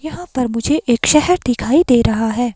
यहां पर मुझे एक शहर दिखाई दे रहा है।